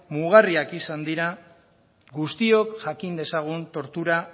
mugarriak izan dira guztiok jakin dezagun tortura